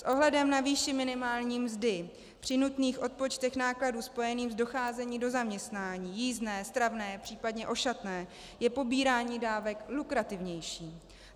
S ohledem na výši minimální mzdy, při nutných odpočtech nákladů spojených s docházením do zaměstnání - jízdné, stravné, případně ošatné - je pobírání dávek lukrativnější.